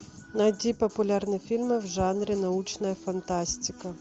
найти популярные фильмы в жанре научная фантастика